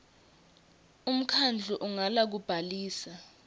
umkhandlu ungala kubhalisa